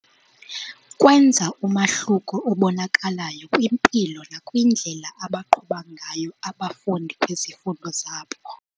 Kwenza umahluko obonakalayo kwimpilo nakwindlela abaqhuba ngayo abafundi kwizifundo zabo.